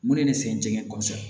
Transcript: Mun de ye ne sɛgɛn jɛgɛ kɔsɛbɛ